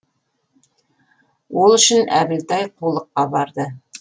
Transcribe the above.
ол үшін әбілтай қулыққа барды